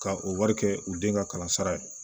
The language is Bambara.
Ka o wari kɛ u den ka kalan sara ye